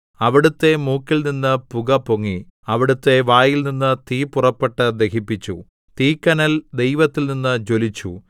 അവിടുത്തെ മൂക്കിൽനിന്ന് പുകപൊങ്ങി അവിടുത്തെ വായിൽനിന്ന് തീ പുറപ്പെട്ട് ദഹിപ്പിച്ചു തീക്കനൽ ദൈവത്തിൽനിന്ന് ജ്വലിച്ചു